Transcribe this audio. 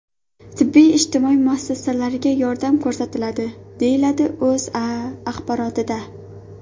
Tibbiy-ijtimoiy muassasalarga yordam ko‘rsatiladi”, deyiladi O‘zA axborotida.